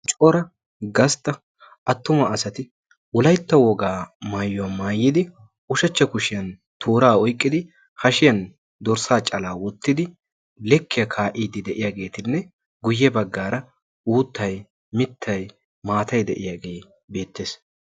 coora gastta attuma asati ulaitta wogaa maayuwaa maayidi ushachcha kushiyan tooraa oyqqidi hashiyan dorssaa calaa wottidi lekkiyaa kaa'iiddi de'iyaageetinne guyye baggaara uuttay mittai maatay de'iyaagee beettees